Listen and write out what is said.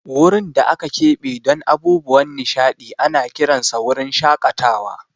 Wurin da aka keɓe don abubuwan nishaɗi ana kiransa wurin shakatawa.